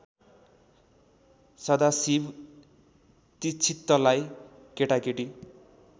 सदाशिव दीक्षितलाई केटाकेटी